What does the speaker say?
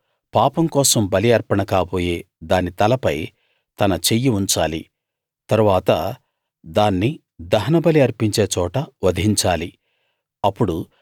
అతడు పాపం కోసం బలి అర్పణ కాబోయే దాని తలపై తన చెయ్యి ఉంచాలి తరువాత దాన్ని దహనబలి అర్పించే చోట వధించాలి